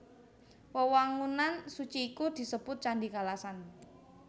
Wewangunan suci iku disebut Candhi Kalasan